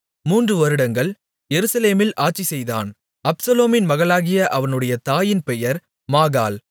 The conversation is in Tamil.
மூன்று வருடங்கள் எருசலேமில் அரசாட்சிசெய்தான் அப்சலோமின் மகளாகிய அவனுடைய தாயின் பெயர் மாகாள்